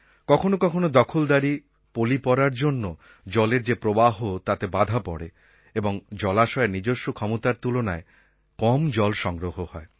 কখনও কখনও দখলদারি পলি পড়ার জন্য জলের যে প্রবাহ তাতে বাধা পড়ে এবং জলাশয়ের নিজস্ব ক্ষমতার তুলনায় কম জল সংগ্রহ হয়